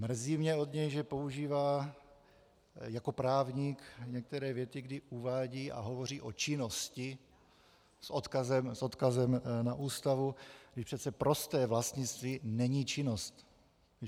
Mrzí mě od něj, že používá jako právník některé věty, kdy uvádí a hovoří o činnosti s odkazem na Ústavu, když přece prosté vlastnictví není činnost.